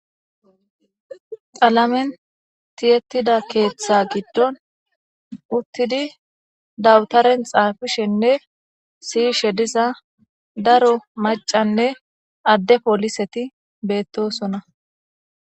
xalamen tiyettida keeththa giddon uttidi dawutaren xaafishenne siyishe diza daro macanne adde pooliseti beettosona